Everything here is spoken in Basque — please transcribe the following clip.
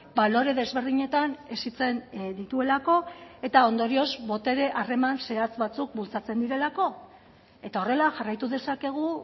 balore desberdinetan hezitzen dituelako eta ondorioz botere harreman zehatz batzuk bultzatzen direlako eta horrela jarraitu dezakegu